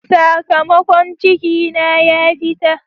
Sakamakon ciki na ya fita.